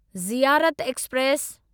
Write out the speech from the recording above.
Ziarat express